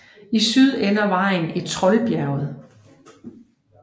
I syd ender vejen i Trollbjerget